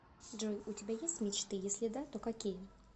джой у тебя есть мечты если да то какие